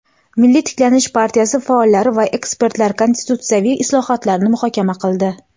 "Milliy tiklanish" partiyasi faollari va ekspertlar konstitutsiyaviy islohotlarni muhokama qildi.